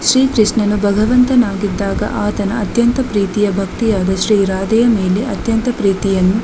ಶ್ರೀ ಕೃಷ್ಣನು ಭಗವಂತನಾಗಿದ್ದಾಗ ಆತನ ಅತ್ಯಂತ ಪ್ರೀತಿಯ ಭಕ್ತೆಯಾದ ಶ್ರೀ ರಾಧೆಯ ಮೇಲೆ ಅತ್ಯಂತ ಪ್ರೀತಿಯನ್ನು--